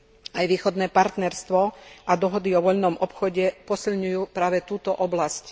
Aj východné partnerstvo a dohody o voľnom obchode posilňujú práve túto oblasť.